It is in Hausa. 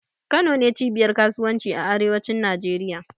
Kano ne cibiyar kasuwanci a arewacin Najeriya.